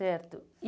Certo. E